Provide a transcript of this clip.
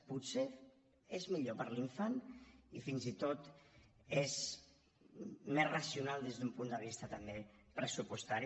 potser és millor per a l’infant i fins i tot és més racional des d’un punt de vista també pressupostari